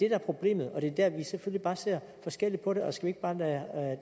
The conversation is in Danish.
er problemet og det er der vi selvfølgelig bare ser forskelligt på det og skal vi ikke bare lade